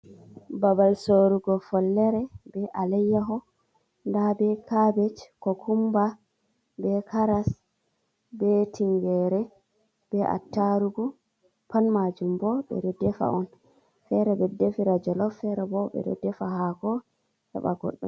Babal sorrugo follere be aleyyaho nda be cabbage, cucumber, be karas, be tingere, be attarugo. Pat majum bo ɓe ɗo defa on. Fere ɓe defira jolof, fere bo ɓe ɗo defa hako heba goddo.